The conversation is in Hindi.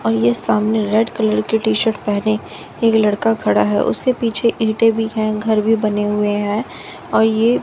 और ये सामने रेड कलर की टि_शर्ट पहने एक लड़का खड़ा है उसके पीछे गिरते भी है घर भी बने हुए हैं और ये--